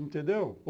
Entendeu?